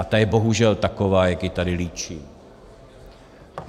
A ta je bohužel taková, jak ji tady líčím.